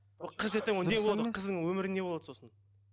қыз ертең ол не болады қыздың өмірі не болады сосын